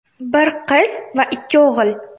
Bir qiz va ikki o‘g‘il.